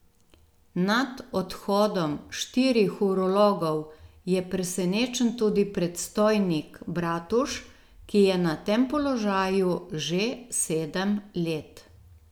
Nad odhodom štirih urologov je presenečen tudi predstojnik Bratuš, ki je na tem položaju že sedem let.